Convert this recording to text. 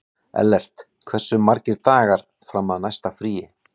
Ellert, hversu margir dagar fram að næsta fríi?